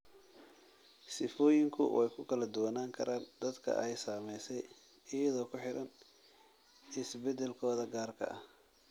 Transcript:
Sifooyinku way ku kala duwanaan karaan dadka ay saamaysay iyadoo ku xidhan isbedelkooda gaarka ah.